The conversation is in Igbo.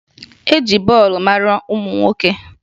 E ji bọọlụ mara ụmụ nwoke